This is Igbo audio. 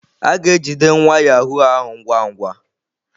A ga-ejide nwa yahụụ ahụ ngwa ngwa.